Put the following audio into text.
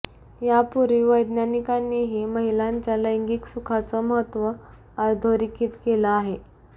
यापूर्वी वैज्ञानिकांनींही महिलांच्या लैंगिक सुखाचं महत्त्व अधोरेखित केलं आहे